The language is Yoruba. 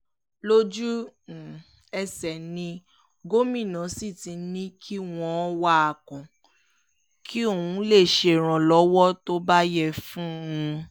lójú-ẹsẹ̀ ni gómìnà sì ti ní kí wọ́n wá a kàn kí ọ́n lè ṣèrànlọ́wọ́ tó bá yẹ fún un